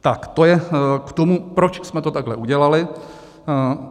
Tak to je k tomu, proč jsme to takhle udělali.